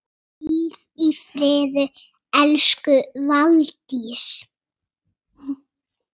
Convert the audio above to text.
Hvíl í friði elsku Valdís.